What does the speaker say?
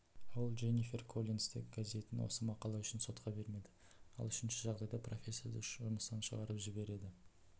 ол дженнифер коллинсты гезетін осы мақала үшін сотқа бермеді ал үшінші жағдайда профессорды жұмыстан шығарып жібереді